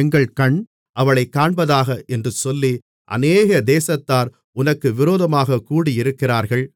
எங்கள் கண் அவளைக் காண்பதாக என்று சொல்லி அநேக தேசத்தார் உனக்கு விரோதமாகக் கூடியிருக்கிறார்கள்